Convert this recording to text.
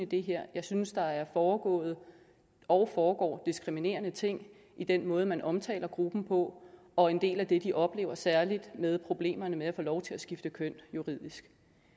det her jeg synes der er foregået og foregår diskriminerende ting i den måde man omtaler gruppen på og en del af det de oplever særlig med problemerne med at få lov til at skifte køn juridisk